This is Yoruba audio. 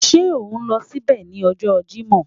Ṣe o n lọ sibẹ ni ọjọ Jimọ?